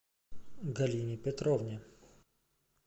галине петровне